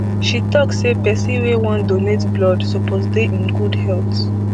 she tok say pesin wey wan donate blood suppose dey in good health